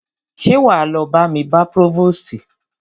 Ṣé wá lọ bá mi bá próvòstì?